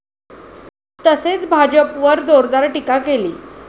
तसेच भाजपवर जोरदार टीका केली.